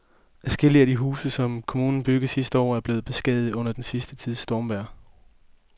Adskillige af de huse, som kommunen byggede sidste år, er blevet beskadiget under den sidste tids stormvejr.